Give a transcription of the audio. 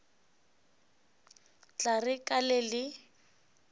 tla re ka le le